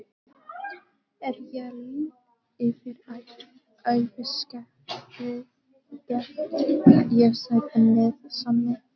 Er ég lít yfir æviskeiðið get ég sagt með sanni